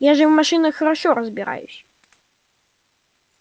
я же в машинах хорошо разбираюсь